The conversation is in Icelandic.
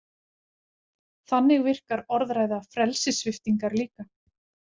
Þannig virkar orðræða frelsissviptingar líka.